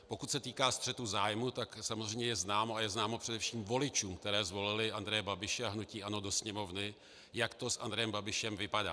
Pokud se týká střetu zájmů, tak samozřejmě je známo, a je známo především voličům, kteří zvolili Andreje Babiše a hnutí ANO do Sněmovny, jak to s Andrejem Babišem vypadá.